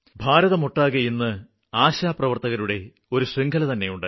ഭാരതമൊട്ടാകെ ഇന്ന് ആശാപ്രവര്ത്തകരുടെ ഒരു ശൃംഖലതന്നെയുണ്ട്